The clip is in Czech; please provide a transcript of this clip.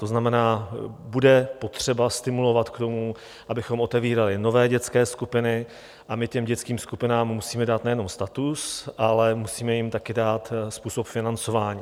To znamená, bude potřeba stimulovat k tomu, abychom otevírali nové dětské skupiny, a my těm dětským skupinám musíme dát nejenom status, ale musíme jim také dát způsob financování.